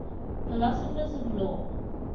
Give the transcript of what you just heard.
philosophers of law